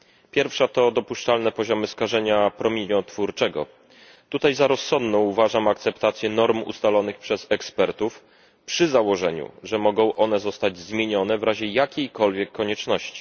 Pierwsza to dopuszczalne poziomy skażenia promieniotwórczego w tej kwestii za rozsądną uważam akceptację norm ustalonych przez ekspertów przy założeniu, że mogą one zostać zmienione w razie jakiejkolwiek konieczności.